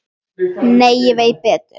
En ég veit betur.